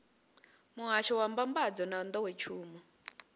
muhasho wa mbambadzo na nḓowetshumo